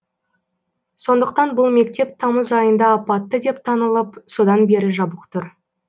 сондықтан бұл мектеп тамыз айында апатты деп танылып содан бері жабық тұр